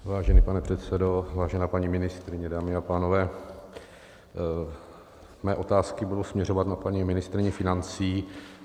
Vážený pane předsedo, vážená paní ministryně, dámy a pánové, mé otázky budou směřovat na paní ministryni financí.